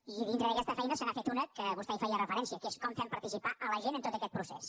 i dintre d’aquesta feina se n’ha fet una que vostè hi feia referència que és com fem participar la gent en tot aquest procés